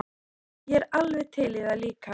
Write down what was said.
Ég er alveg til í það líka.